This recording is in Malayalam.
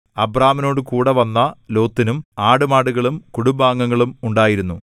അബ്രാമിനോടുകൂടെവന്ന ലോത്തിനും ആടുമാടുകളും കുടുംബാംഗങ്ങളും ഉണ്ടായിരുന്നു